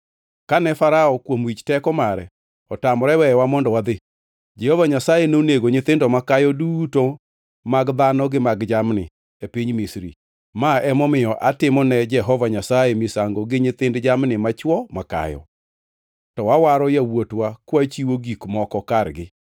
Kane Farao kuom wich teko mare otamore weyowa mondo wadhi, Jehova Nyasaye nonego nyithindo makayo duto mag dhano gi mag jamni, e piny Misri. Ma emomiyo atimo ne Jehova Nyasaye misango gi nyithind jamni machwo makayo, to wawaro yawuotwa kwachiwo gik moko kargi.’